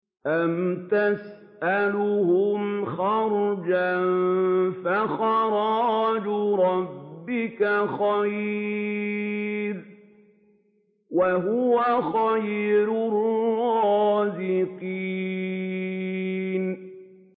أَمْ تَسْأَلُهُمْ خَرْجًا فَخَرَاجُ رَبِّكَ خَيْرٌ ۖ وَهُوَ خَيْرُ الرَّازِقِينَ